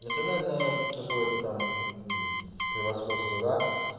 национальное какое-то там превосходство да